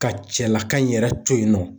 Ka cɛlaka in yɛrɛ to yen nɔ.